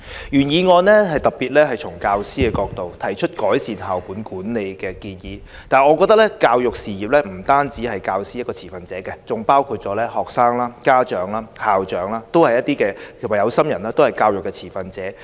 原議案特別從教師的角度，提出改善校本管理的建議，但我認為教育事業不止教師是持份者，學生、家長、校長和有心人都是持份者。